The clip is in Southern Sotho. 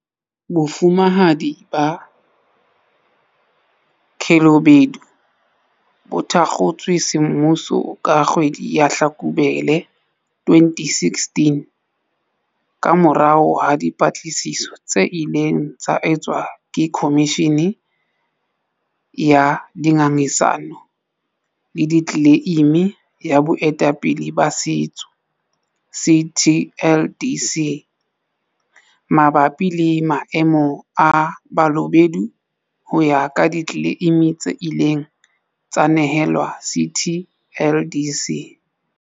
Bofumahadi ba Balobedu bo thakgotswe semmuso ka kgwedi ya Hlakubele 2016 kamorao ha dipatlisiso tse ileng tsa etswa ke Khomishi ni ya Dingangisano le Ditle leimi ya Boetapele ba Setso, CTLDC, mabapi le maemo a Balobedu ho ya ka ditleleimi tse ileng tsa nehelwa CTLDC.